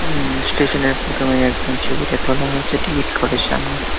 উম-ম স্টেশনের প্রথমেই একদম তোলা হয়েছে টিকিট ঘরের সামনে ।